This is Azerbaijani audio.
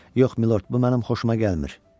Yox, milord, bu mənim xoşuma gəlmir.